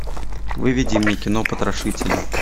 выведи мне кино потрошители